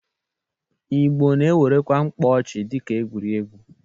Ịgbo na-ewerekwa mkpọchị dịka egwuregwu.